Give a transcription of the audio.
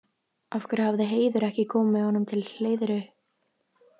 Af hverju hafði Heiður ekki komið með honum til Hleiðru?